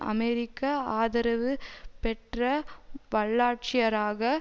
அமெரிக்க ஆதரவு பெற்ற வல்லாட்சியராக